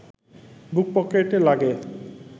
বুক পকেটে লাগে